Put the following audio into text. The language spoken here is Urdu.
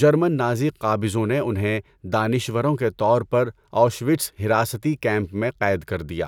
جرمن نازی قابضوں نے انہیں دانشوروں کے طور پر آؤشوِٹس حراستی کیمپ میں قید کر دیا۔